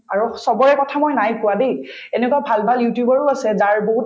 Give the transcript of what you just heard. আৰু চবৰে কথা মই নাই কোৱা দেই এনেকুৱা ভাল ভাল youtuber ও আছে যাৰ বহুত